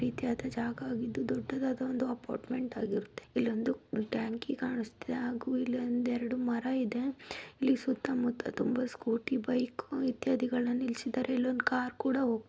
ಇಖ್ಯಾತ ಜಾಗವಾಗಿದ್ದು ದೊಡ್ಡದಾದ ಒಂದು ಅಪಾರ್ಟ್ಮೆಂಟ್ ಆಗಿರುತ್ತೆ ಇಲ್ಲೊಂದು ಬ್ರ್ಯಾಂಕಿ ಕಾಣಿಸುತ್ತಿದೆ ಹಾಗೂ ಇಲ್ಲೊಂದೆರಡು ಮರ ಇದೆ ಈ ಸುತ್ತಮುತ್ತ ತುಂಬಾ ಸ್ಕೋಟಿ ಬೈಕು ಎತ್ತ್ಯಾದಿಗಳನ್ನು ನಿಲ್ಲಿಸಿದಾರೆ ಮತ್ತು ಒಂದು ಕಾರು ಕುಡಾ ಹೋಗ್ತಿದೆ.